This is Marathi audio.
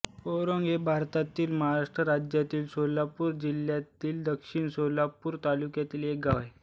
औराड हे भारतातील महाराष्ट्र राज्यातील सोलापूर जिल्ह्यातील दक्षिण सोलापूर तालुक्यातील एक गाव आहे